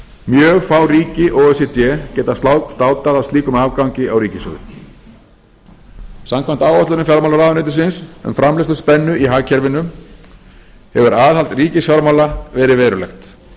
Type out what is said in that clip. mjög fá ríki o e c d geta státað af slíkum afgangi á ríkissjóði samkvæmt áætlunum fjármálaráðuneytisins um framleiðsluspennu í hagkerfinu hefur aðhald ríkisfjármála verið verulegt